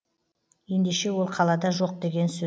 ендеше ол қалада жоқ деген сө